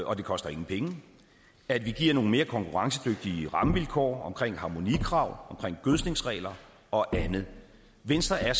og det koster ingen penge at vi giver nogle mere konkurrencedygtige rammevilkår omkring harmonikrav omkring gødskningsregler og andet venstre er